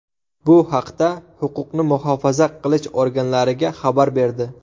bu haqda huquqni muhofaza qilish organlariga xabar berdi.